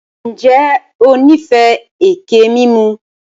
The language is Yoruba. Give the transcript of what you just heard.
Ǹjẹ́ o níìfẹ́ ẹkẹ mímù?